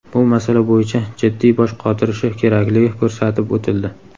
bu masala bo‘yicha jiddiy bosh qotirishi kerakligi ko‘rsatib o‘tildi.